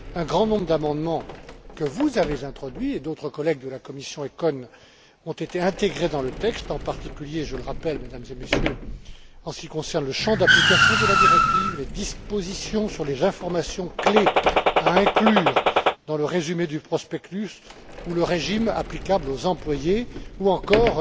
Un grand nombre d'amendements que vous avez introduits, ainsi que d'autres collègues de la commission ECON, ont été intégrés dans le texte, en particulier, je le rappelle Mesdames et Messieurs, en ce qui concerne le champ d'application de la directive, les dispositions sur les informations clés à inclure dans le résumé du prospectus ou le régime applicable aux employés ou encore